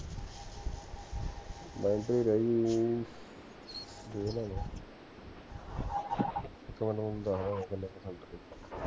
battery ਰਹਿ ਗਈ ਦੇਖਦਾ ਮੈਂ ਇਕ ਮਿੰਟ ਤੈਨੂੰ ਦਸਦਾ ਮੈਂ ਕਿੰਨੇ percent ਹਿ ਗਈ